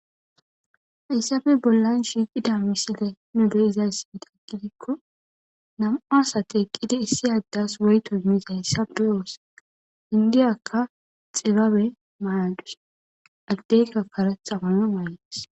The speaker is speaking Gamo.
Hayssafe bollan shiiqida miside nu de7izayssieda aggidikko nam7a asate eqqida issi addas woyto mis hayssafe oosaka indiyakka xibabe mayadus agdeyka kare xawana mayadus.